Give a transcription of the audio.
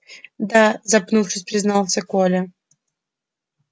да запнувшись признался коля